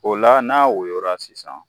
O la n'a woyola sisan